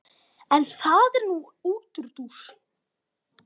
En það er nú útúrdúr.